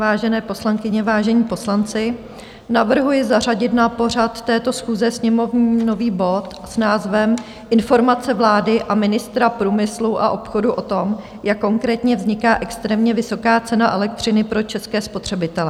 Vážené poslankyně, vážení poslanci, navrhuji zařadit na pořad této schůze sněmovní nový bod s názvem Informace vlády a ministra průmyslu a obchodu o tom, jak konkrétně vzniká extrémně vysoká cena elektřiny pro české spotřebitele.